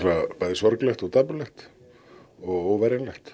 sorglegt og dapurlegt og